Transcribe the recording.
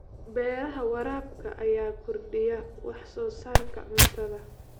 Beeraha waraabka ayaa kordhiya wax soo saarka cuntada.